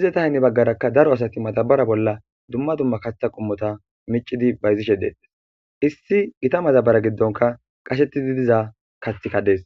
izeta hinne baggarakka daro asati matabara bolla dumma dumma katha qommota micidi bayzishe deetes issi gita matabara giddonka qashetidi diza kathikadees.